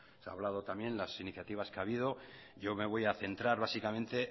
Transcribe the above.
se ha hablado también las iniciativas que ha habido yo me voy a centrar básicamente